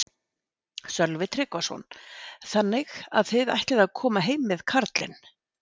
Sölvi Tryggvason: Þannig að þið ætlið að koma heim með karlinn?